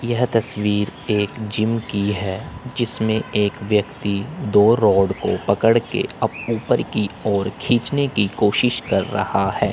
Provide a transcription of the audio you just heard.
यह तस्वीर एक जिम की है जिसमें एक व्यक्ति दो रौड को पकड़ के अब ऊपर की ओर खींचने की कोशिश कर रहा है।